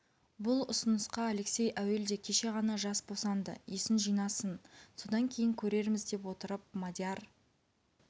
бұл ұсынысқа алексей әуелде кеше ғана жас босанды есін жинасын содан кейін көрерміз деп отырып мадияр